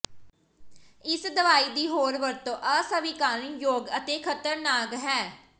ਇਸ ਦਵਾਈ ਦੀ ਹੋਰ ਵਰਤੋਂ ਅਸਵੀਕਾਰਨਯੋਗ ਅਤੇ ਖ਼ਤਰਨਾਕ ਹੈ